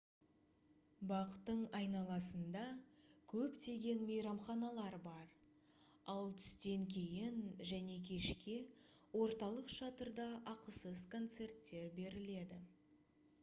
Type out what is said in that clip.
бақтың айналасында көптеген мейрамханалар бар ал түстен кейін және кешке орталық шатырда ақысыз концерттер беріледі